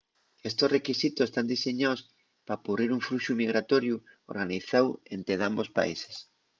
estos requisitos tán diseñaos p'apurrir un fluxu migratoriu organizáu ente dambos países